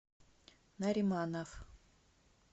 нариманов